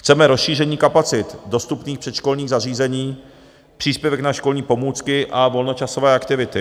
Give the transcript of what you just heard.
Chceme rozšíření kapacit dostupných předškolních zařízení, příspěvek na školní pomůcky a volnočasové aktivity.